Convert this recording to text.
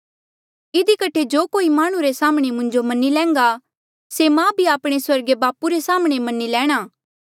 इधी कठे जो कोई माह्णुं रे साम्हणें मुंजो मन्नी लैन्घा से मां भी आपणे स्वर्गीय बापू रे साम्हणें मन्नी लैणा